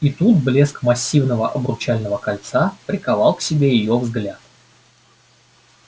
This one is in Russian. и тут блеск массивного обручального кольца приковал к себе её взгляд